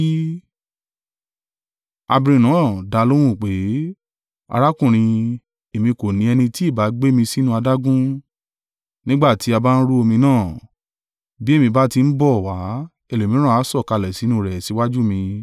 Abirùn náà dá a lóhùn wí pé, “Arákùnrin, èmi kò ní ẹni tí ìbá gbé mi sínú adágún, nígbà tí a bá ń rú omi náà, bí èmi bá ti ń bọ̀ wá, ẹlòmíràn a sọ̀kalẹ̀ sínú rẹ̀ síwájú mi.”